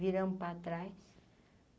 Viramos para trás.